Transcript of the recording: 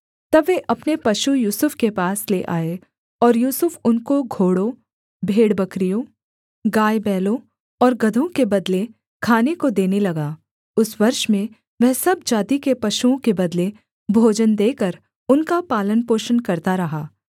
तब वे अपने पशु यूसुफ के पास ले आए और यूसुफ उनको घोड़ों भेड़बकरियों गायबैलों और गदहों के बदले खाने को देने लगा उस वर्ष में वह सब जाति के पशुओं के बदले भोजन देकर उनका पालनपोषण करता रहा